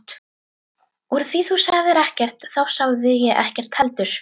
Úr því þú sagðir ekkert þá sagði ég ekkert heldur.